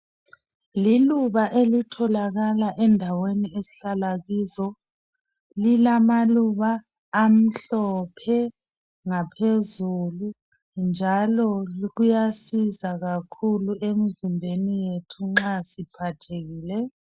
Liluba elitholakala endaweni esihlala kizo lilamaluba amhlophe ngaphezulu njalo kuyasiza kakhulu emzimbeni yethu nxa siphathekile